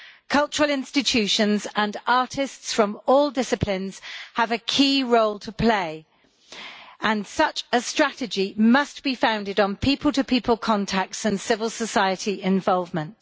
Cultural institutions and artists from all disciplines have a key role to play, and such a strategy must be founded on people to people contacts and civil society involvement.